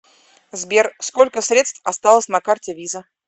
сбер сколько средств осталось на карте виза